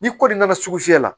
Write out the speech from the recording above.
Ni kɔli nana sugu fiyɛ la